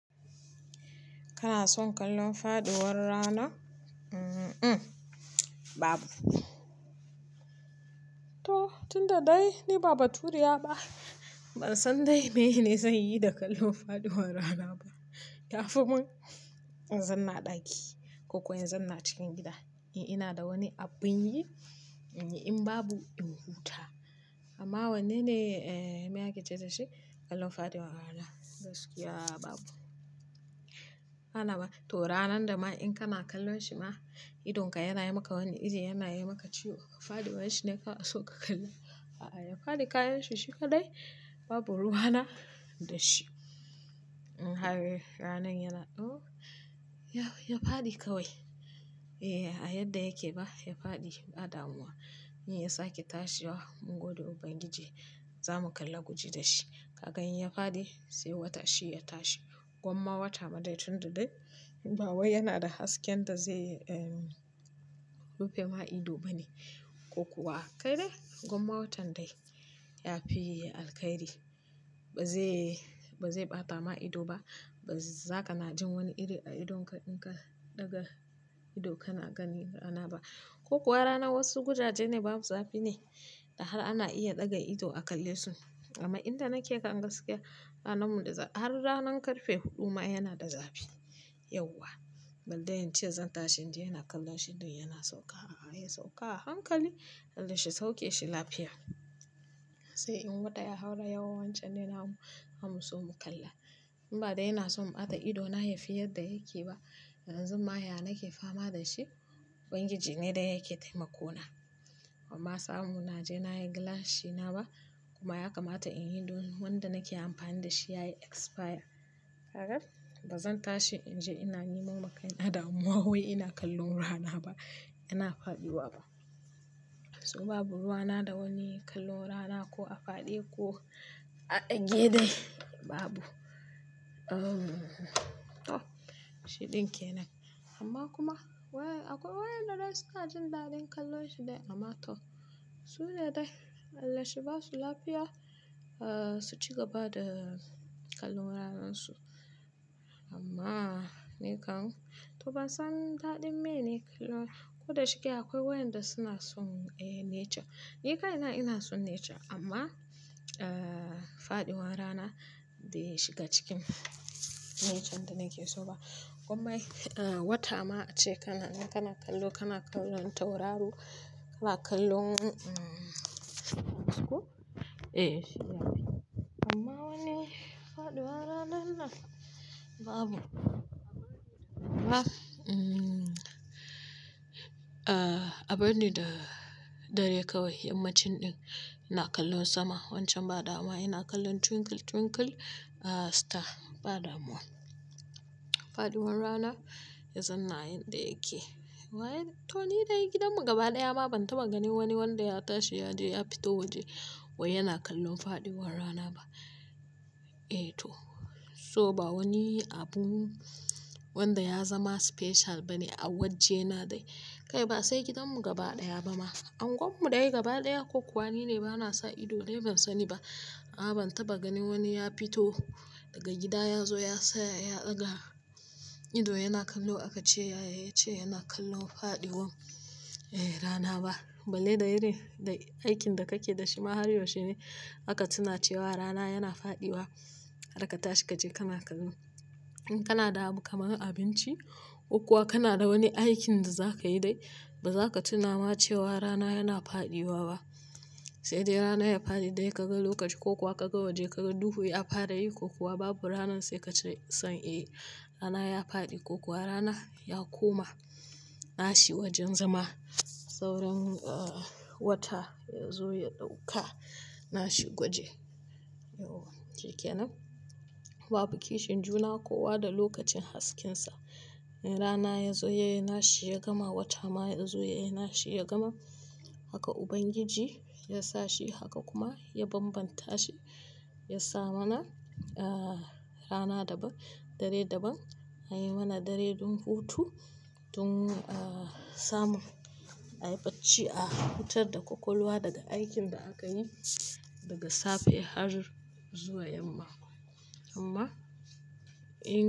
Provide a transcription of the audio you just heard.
Kana son kallon faɗuwar rana? Um, um babu. To tun da dai ni babba turiya ba. Ban san dai mene zai yi da kallon faduwar rana ba. Yafi man, yanzu na ɗaki ko kuwa yanzu na cikin gida. Eh ina da wani abun yi in babu in huta amma wane ne me ake ce dashi kallon faɗuwar rana. Gaskiya babu. Kana ba to ranan da ma in kana kallo shi ma idonka yana yi maka wani iri yana yi maka ciwo. Ka faɗi wanci ne ka so ka kalla. A'a, ya faɗi kayan shi shuka dai babu ruwana da shi. Ranar yana oh! Ya faɗi kawai. Eh, a yadda yake ba ya faɗi ba damuwa. In ya sake tashi wa mun gode ubangiji zamu kalla guji da shi. Kakan yi ya faɗi sai wata shi ya tashi. Gwamma wata ma dai tun da dai ba wai yana da hasken da zai rufe ma ido bane. Ko kuwa kai dai gwamma watan dai yafi alkhairi. Ba zai, ba zai ɓata ma ido ba. Ba za ka na jin wani iri a idonka in ka ɗaga ido kana gani rana ba. Ko kuwa rana wasu gujaje ne babu zafi ne da har ana iya ɗaga ido a kalle su. Amma inda nake kanga sikia ranar mu har ranar karfe huɗu ma yana da zafi. Yauwa. Ban dai yance zan tashi in je ina kallon shi dai yana sauka. A'a, ya sauka a hankali. Allah shi sauke shi lafiya. Sai in gwada ya haura yau wancan ne na mu so mu kalla. In ba dai yana son ɓata ido na yafi yadda yake ba. Yanzun ma ya nake fama da shi. Ubangiji ne da yake taimako na. Amma samu na je na yi glass shi na ba kuma ya kamata in yi don wanda nake amfani da shi yayi expire. Kakan ba zan tashi in je ina yi mamakai na damuwa wai ina kallon rana ba. Ina faɗi wa ba. So babu ruwana da wani kallon rana ko a faɗe ko a dage dai babu. Oh! Shi din kenan. Amma kuma akwai wayanda dai suna jin daɗin kallon shi dai. Amma to su dai Allah shi ba su lafiya su ci gaba da kallon ranan su. Amma ni kam to ban san daɗin mene kallon. Ko da shike akwai wayanda suna son nature. Ni kai na ina son nature amma, eh faɗiwar rana bai shiga cikin nature da nake so ba. Gwamma wata ma ace kana, kana kallo, kana kallon tauraru, kana kallon eh shi yayi. Amma wani faɗiwar rana na babu. Ah, um abin da dare kawai yammacin din ina kallon sama wancan ba dama ina kallon twinkle twinkle star ba damuwa. Faɗiwar rana yanzu na yanda yake. Wai to ni dai gidan mu gaba ɗaya ma ban taba ganin wani wanda ya tashi ya je ya fito waje wai yana kallon faɗiwar rana ba. Eh to so ba wani abu wanda ya zama special bane a wajje na dai. Kai ba sai gidan mu gaba ɗaya ba ma. Angon mu ɗaya gaba ɗaya ko kuwa ni ne bana sa ido dai ban sani ba. A'a ban taba ganin wani ya fito daga gida ya zo ya tsaya ya ɗaga ido yana kallo aka ce ya ce yana kallon faɗiwan eh rana ba. Balle da iri da aikin da kake da shi ma har yaushe ne aka tuna cewa rana yana faɗiwa? Har ka tashi kaje kana kallo. In kana da kamfanin abinci ko kuwa kana da wani aikin da za ka yi dai ba za ka tuna ma cewa rana yana faɗiwa ba. Sai dai rana ya faɗi dai ka ga lokaci ko kuwa ka ga waje ka ga duhu ya fara yi ko kuwa babu rana sai kace san eh rana ya faɗi ko kuwa rana ya koma nashi wajen zama. Sauran wata ya zo ya ɗauka nashi gwaje. Yauwa shikenan babu kishin juna ko kuwa da lokacin haskensa. Rana ya zo ya yi nashi ya gama wata ma ya zo ya yi nashi ya gama. Haka ubangiji ya sa shi haka kuma ya bambanta shi. Ya sa mana rana daban, dare daban. Ya yi mana dare don hutu don samun ayyace a hutar da kwakwalwa daga aikin da aka yi daga safe har zuwa yamma. Amma in.